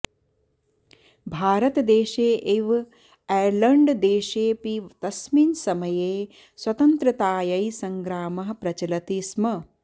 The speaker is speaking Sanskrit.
भारतदेशे इव ऐर्लण्ड्देशेऽपि तस्मिन् समये स्वतन्त्रतायै सङ्ग्रामः प्रचलति स्म